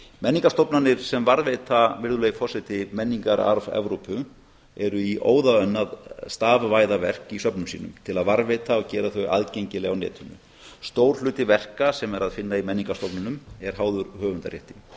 menningarstofnanir sem varðveita virðulegi forseti menningararf evrópu eru í óðaönn að stafvæða verk í söfnum sínum til að varðveita og gera þau aðgengileg á netinu stór hluti verka sem er að finna í menningarstofnunum er háður höfundarétti